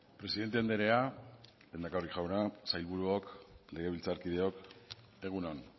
presidente andrea lehendakari jauna sailburuok legebiltzarkideok egun on